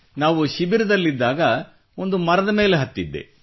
ನಾವು ಶಿಬಿರದಲ್ಲಿದ್ದಾಗ ಒಂದು ಮರದ ಮೇಲೆ ಹತ್ತಿದ್ದೆ